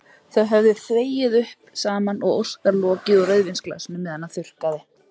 Þau höfðu þvegið upp saman og Óskar lokið úr rauðvínsglasinu meðan hann þurrkaði.